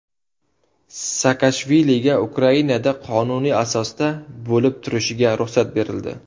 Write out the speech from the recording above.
Saakashviliga Ukrainada qonuniy asosda bo‘lib turishiga ruxsat berildi.